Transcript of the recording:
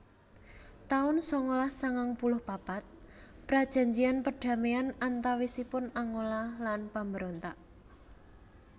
taun sangalas sangang puluh papat Prajanjian perdamaian antawisipun Angola lan pambrontak